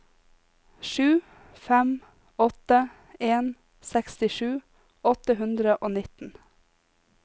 sju fem åtte en sekstisju åtte hundre og nitten